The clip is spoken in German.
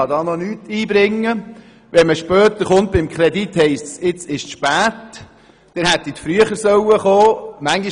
Kommt man später bei der Bewilligung des Kredits, heisst es dann, es wäre jetzt zu spät, wir hätten früher damit kommen müssen.